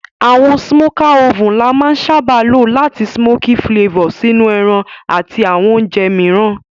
Àwon smoker oven la má n sábá lo làti smoky flavor sínú ẹran àti àwon ounje mìíràn